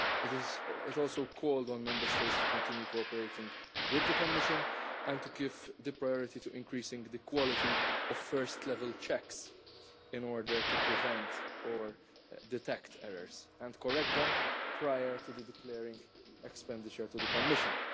It also called on Member States to continue cooperating with the Commission and to give priority to increasing the quality of first level checks in order to prevent or detect errors and correct them prior to declaring expenditure to the Commission.